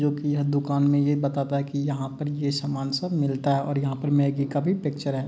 जोकि यह दूकान मे ये बताता हैं की यहाँ पर ये समान सब मिलता है और यहां पर मैगी का भी पिक्चर है।